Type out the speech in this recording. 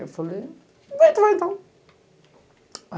Eu falei... tu vai então.